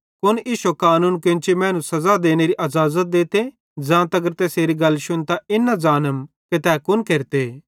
कुन इश्शे कानून केन्ची मैनू सज़ा देनेरी अज़ाज़त देते ज़ां तगर तैसेरी गल शुन्तां इन न ज़ानम कि तै कुन केरते